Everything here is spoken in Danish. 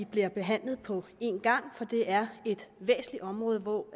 bliver behandlet på en gang for det er et væsentligt område hvor